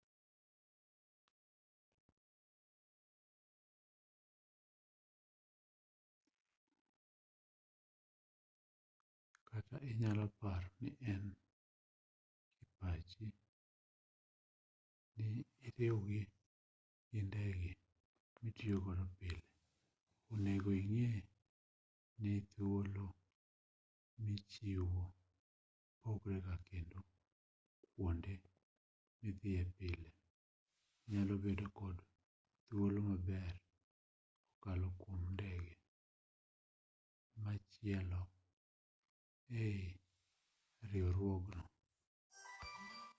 kata inyalo paro nien kipachi ni iriwri gi ndege mitiyo godo pile onego ing'e ni thuolo michiwo pogrega kendo kuonde midhiye pile nyalo bedo kod thuolo maber kokalo kuom ndege machielo eii riwruogno